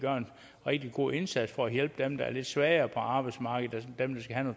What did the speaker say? rigtig god indsats for at hjælpe dem der er lidt svagere på arbejdsmarkedet dem der skal have